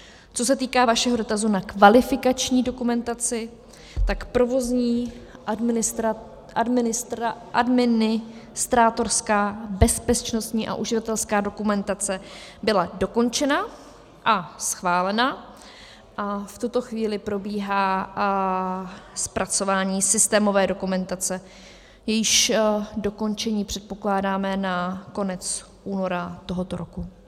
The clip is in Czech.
Co se týká vašeho dotazu na kvalifikační dokumentaci, tak provozní, administrátorská, bezpečnostní a uživatelská dokumentace byla dokončena a schválena a v tuto chvíli probíhá zpracování systémové dokumentace, jejíž dokončení předpokládáme na konec února tohoto roku.